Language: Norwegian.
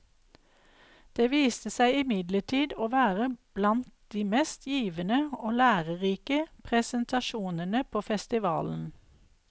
Det viste seg imidlertid å være blant de mest givende og lærerike presentasjonene på festivalen.